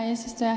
Hea eesistuja!